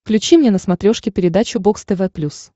включи мне на смотрешке передачу бокс тв плюс